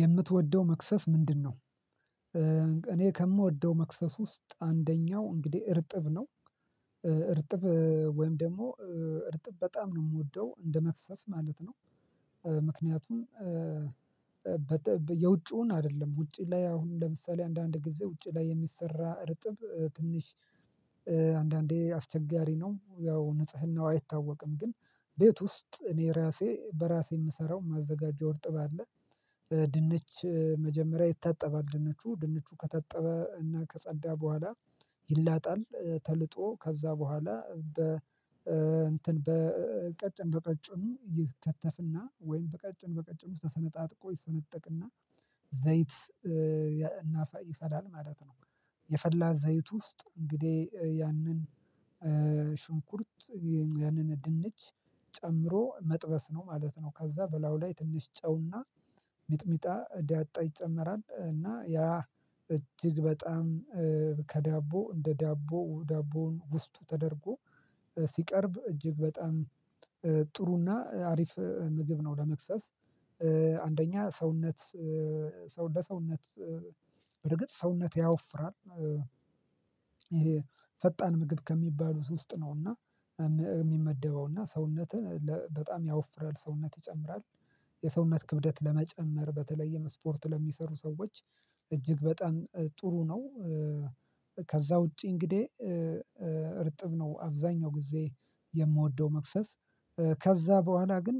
የምትወደው መክሰስ ምንድነው? እኔ ከምወደው መክሰስ ውስጥ አንደኛው እንግዲህ እርጥብ ነው። እርጥብ ወይም ደግሞ እርጥብ በጣም ነው የምወደው እንደ መክሰስ ማለት ነው። ምክንያቱም የውጭውን አይደለም ውጪ ላይ አሁን ለምሳሌ አንዳንድ ጊዜ ውጪ ላይ የሚሰራ ርጥብ ትንሽ አንዳንዴ አስቸጋሪ ነው። ያው ንጽህናው አይታወቅም ግን ቤት ውስጥ እኔ ራሴ በራሴ የምሰራው ማዘጋጀው እርጥብ አለ። ድንች መጀመሪያ ይታጠባል ድንቹ ድንቹ ከታጠበ እና ከጸዳ በኋላ ይላጣል ተልጦ ከዛ በኋላ በ እንትን በቀጭን በቀጭኑ ይከተፍና ወይም በቀጭን በቀጭኑን ተሰነጣጥቆ ይሰነጠቅና ዘይት ይፈላል ማለት ነው። የፈላ ዘይት ውስጥ እንግዲህ ያንን ሽንኩርት ያንን ድንች ጨምሮ መጥበስ ነው ማለት ነው። ከዛ በላዩ ላይ ትንሽ ጨውና ሚጥሚጣ ዳጣ ይጨመራል። እና ያ እጅግ በጣም ከዳቦ እንደ ዳቦ ዳቦው ውስጥ ተደርጎ ሲቀርብ እጅግ በጣም ጥሩና አሪፍ ምግብ ነው። ለመክሰስ አንደኛ ሰውነት ሰው ለሰውነት በርግጥ ሰውነት ያወፍራል። ይሄ ፈጣን ምግብ ከሚባሉት ውስጥ ነውና የሚመደበውና ሰውነትን በጣም ያወፍራል ሰውነት ይጨምራል። የሰውነት ክብደት ለመጨመር በተለየ ስፖርት ለሚሰሩ ሰዎች እጅግ በጣም ጥሩ ነው። ከዛ ውጪ እንግዲህ እርጥብ ነው አብዛኛው ጊዜ የምወደው መክሰስ። ከዛ በኋላ ግን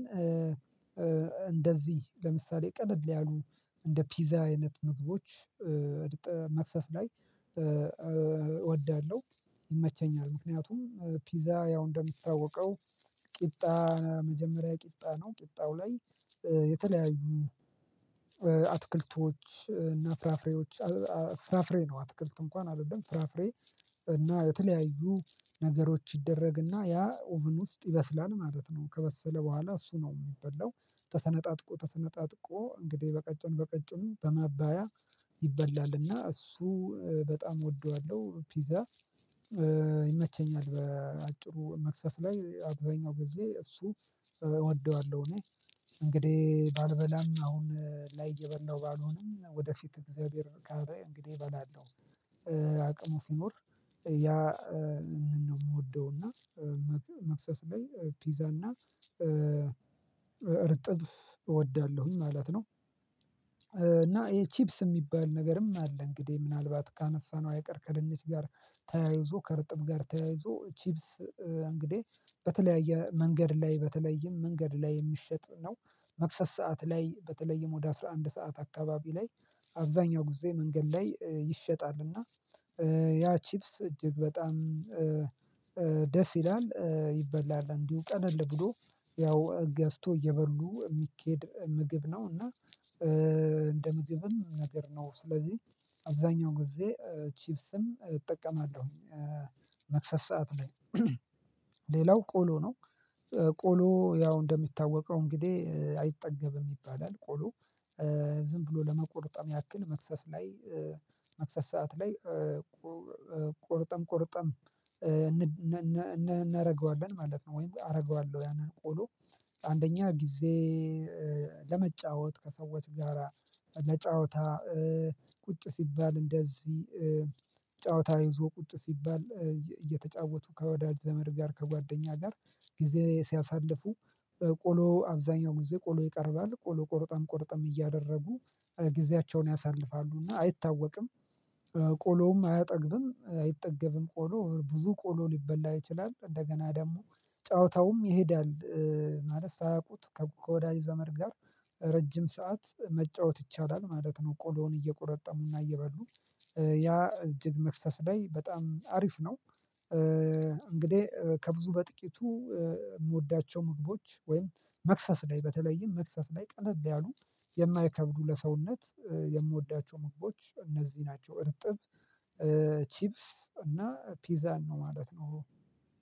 እንደዚህ ለምሳሌ ቀለል ያሉ እንደ ፒዛ አይነት ምግቦች እርጥብ መክሰስ ላይ እወዳለሁ። ይመቸኛል ምክንያቱም ፒዛ ያው እንደሚታወቀው ቂጣ መጀመሪያ ቂጣ ነው። ቂጣው ላይ የተለያዩ አትክልቶች እና ፍራፍሬዎች ፍራፍሬ ነው አትክልት እንኳን አይደለም ፍራፍሬ እና የተለያዩ ነገሮች ይደረግና ያ ኦቭን ውስጥ ይበስላል ማለት ነው። ከበሰለ በኋላ እሱ ነው የሚበላው። ተሰነጣጥቆ ተሰነጣጥቆ እንግዲህ በቀጭኑ በቀጭኑ በማባያ ይበላልና እሱ በጣም እወደዋለሁ ፒዛ። ይመቸኛል በአጭሩ መክሰስ ላይ አብዛኛው ጊዜ እሱ እወደዋለሁ። እኔ እንግዲህ ባልበላም አሁን ላይ እየበላሁ ባልሆንም ወደፊት እግዚአብሔር ካለ እንግዲህ እበላለሁ። አቅሙ ሲኖር ያ ነው የምወደው እና መክሰስ ላይ ፒዛ እና እርጥብ እወዳለሁኝ ማለት ነው። እና ይሄ ቺፕስ የሚባል ነገርም አለ። እንግዲህ ምናልባት ካነሳነው አይቀር ከድንች ጋር ተያይዞ ከርጥብ ጋር ተያይዞ ቺፕስ እንግዲህ በተለያየ መንገድ ላይ በተለይም መንገድ ላይ የሚሸጥ ነው። መክሰስ ሰዓት ላይ በተለይም ወደ አስራ አንድ ሰዓት አካባቢ ላይ አብዛኛው ጊዜ መንገድ ላይ ይሸጣልና። ያ ቺፕስ እጅግ በጣም ደስ ይላል ይበላል እንዲሁ ቀለል ብሎ ያው ገዝቶ እየበሉ የሚኬድ ምግብ ነው። እና እንደ ምግብም ነገር ነው ስለዚህ አብዛኛው ጊዜ ቺፕስም እጠቀማለሁኝ። መክሰስ ሰዓት ላይ ሌላው ቆሎ ነው። ቆሎ ያው እንደሚታወቀው እንግዲህ አይጠገብም ይባላል ቆሎ። ዝም ብሎ ለመቆርጠም ያክል መክሰስ ላይ መክሰስ ሰዓት ላይ ቆርጠም ቆርጠም እናደርገዋለን ማለት ነው። ወይም አደርገዋለሁ ያንን ቆሎ አንደኛ ጊዜ ለመጫወት ከሰዎች ጋራ ለጫወታ ቁጭ ሲባል እንደዚህ ጨዋታ ይዞ ቁጭ ሲባል እየተጫወቱ ከወዳጅ ዘመድ ጋር ከጓደኛ ጋር ጊዜ ሲያሳልፉ። ቆሎ አብዛኛው ጊዜ ቆሎ ይቀርባል ቆሎ ቆርጠም ቆርጠም እያደረጉ ጊዜያቸውን ያሳልፋሉ እና አይታወቅም። ቆሎም አያጠግብም አይጠገብም ቆሎ ብዙ ቆሎ ሊበላ ይችላል እንደገና ደግሞ ጨዋታውም ይሄዳል። ማለት ሳያውቁት ከወዳጅ ዘመድ ጋር ረጅም ሰዓት መጫወት ይቻላል ማለት ነው። ቆሎውን እየቆረጠሙና እየበሉ ያ እጅግ መክሰስ ላይ በጣም አሪፍ ነው። እንግዲህ ከብዙ በጥቂቱ የምወዳቸው ምግቦች ወይም መክሰስ ላይ በተለይም መክሰስ ላይ ቀለል ያሉ የማይከብዱ ለሰውነት የምወዳቸው ምግቦች እነዚህ ናቸው። እርጥብ ቺፕስ እና ፒዛን ነው ማለት ነው።